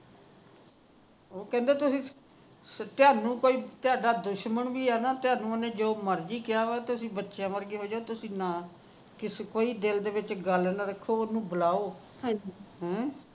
ਉਹ ਕਹਿੰਦਾ ਤੁਸੀ ਤਹਾਡੇ ਜੇ ਕੋਈ ਦੁਸਮਣ ਵੀ ਹੈ ਨਾ ਚਾ ਜਾ ਉਹਨੇ ਜੋ ਮਰਜੀ ਕਿਹਾ ਹੈ ਤੁਸੀ ਬਚਿਆ ਵਰਗੇ ਹੋ ਜਾਵੋ ਤੁਸੀ ਕੋਈ ਨਾ ਦਿਲ ਦੇ ਵਿਚ ਕੋਈ ਗੱਲ ਨਾ ਰੱਖੋ ਉਹਨੂੰ ਬੁਲਾਓਨ ਹਮ